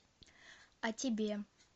а тебе